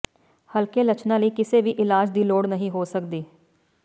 ਹਲਕੇ ਲੱਛਣਾਂ ਲਈ ਕਿਸੇ ਵੀ ਇਲਾਜ ਦੀ ਲੋੜ ਨਹੀਂ ਹੋ ਸਕਦੀ